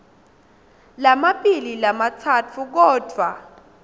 lamabili lamatsatfu kodvwa